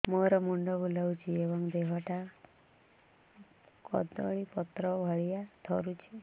ମୋର ମୁଣ୍ଡ ବୁଲାଉଛି ଏବଂ ଦେହଟା କଦଳୀପତ୍ର ଭଳିଆ ଥରୁଛି